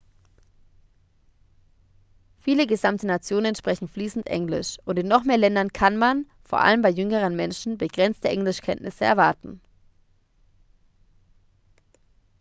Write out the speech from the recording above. viele gesamte nationen sprechen fließend englisch und in noch mehr ländern kann man vor allem bei jüngeren menschen begrenzte englischkenntnisse erwarten